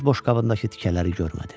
Öz boşqabındakı tikələri görmədi.